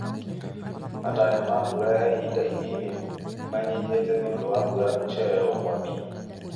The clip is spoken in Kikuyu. Matanya ma mbura ya ihinda inini nĩmanyihĩte nĩũndũ wa mbura gũcererwo kwambia